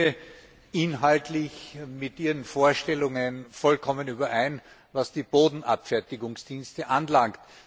Ich stimme inhaltlich mit Ihren Vorstellungen vollkommen überein, was die Bodenabfertigungsdienste anbelangt.